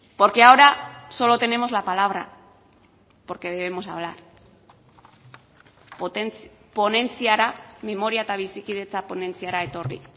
porque ahora solo tenemos la palabra porque debemos hablar ponentziara memoria eta bizikidetza ponentziara etorri